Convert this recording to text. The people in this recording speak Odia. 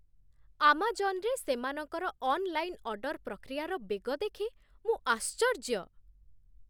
ଆମାଜନ୍‌ରେ ସେମାନଙ୍କର ଅନ୍‌ଲାଇନ୍‌ରେ ଅର୍ଡର୍ ପ୍ରକ୍ରିୟାର ବେଗ ଦେଖି ମୁଁ ଆଶ୍ଚର୍ଯ୍ୟ।